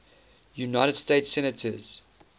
united states senators